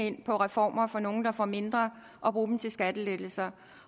ind på reformer for nogle der får mindre og bruge dem til skattelettelser